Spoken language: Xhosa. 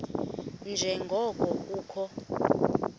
nje ngoko kukho